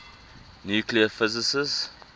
nuclear physics